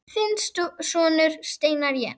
Þinn sonur, Steinar Jens.